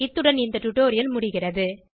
இத்துடன் இந்த டுடோரியல் முடிகிறது